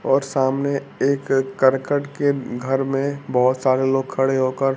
और सामने एक करकट के घर में बहोत सारे लोग खड़े होकर--